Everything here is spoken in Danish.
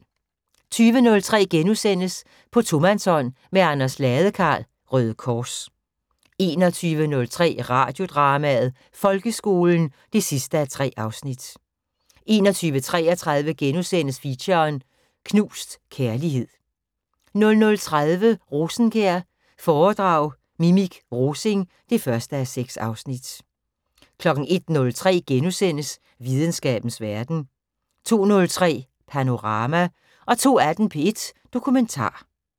20:03: På tomandshånd med Anders Ladekarl, Røde Kors * 21:03: Radiodrama: Folkeskolen 3:3 21:33: Feature: Knust kærlighed * 00:30: Rosenkjær foredrag Mimik Rosing 1:6 01:03: Videnskabens Verden * 02:03: Panorama 02:18: P1 Dokumentar